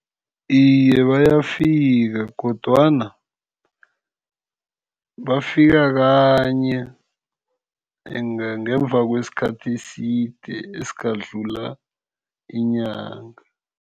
Iye, bayafika kodwana bafika kanye ngemva kwesikhathi eside esingadlula inyanga.